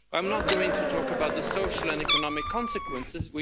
contained. I'm not going to talk about the social and economic consequences.